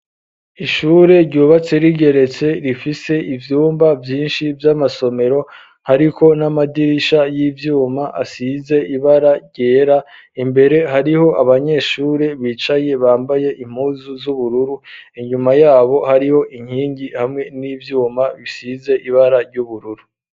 Ishure ryubatse rigeretse rifise ivyumba vyinshi vy'amasomero hariko n'amadirisha y'ivyuma asize ibara ryera imbere hariho abanyeshure bicaye bambaye impuzu z'ubururu inyuma yabo hariho inkingi hamwe n'ivyuma bisize ibara ry'ubururu.